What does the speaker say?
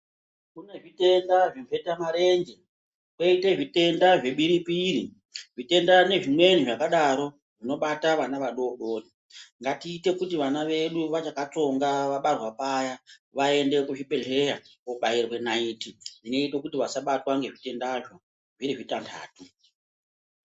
Kune zvitenda zvemhetamarenje koite zvitenda zvebiripiri zvitenda nezvimweni zvakadaro zvinobata vana vadodori, ngatiite kuti vana vedu vachakatsonga vabarwa paya vaende kuzvibhedhleya kobairwe naiti inoite kuti vasabatwe ngezvitendazvo zviri zvitantatu.